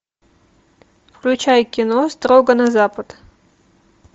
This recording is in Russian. включай кино строго на запад